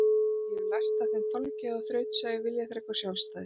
Ég hafði lært af þeim þolgæði og þrautseigju, viljaþrek og sjálfstæði.